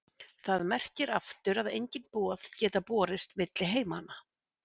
Það merkir aftur að engin boð geta borist milli heimanna.